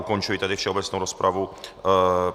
Ukončuji tedy všeobecnou rozpravu.